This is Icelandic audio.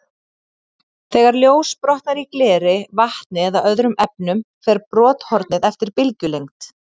Þegar ljós brotnar í gleri, vatni eða öðrum efnum, fer brothornið eftir bylgjulengd.